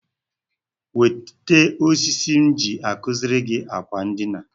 Wete osisi m ji akuziri gị akwa ndina gị.